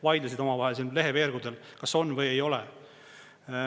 Vaidlesid omavahel siin leheveergudel, kas on või ei ole.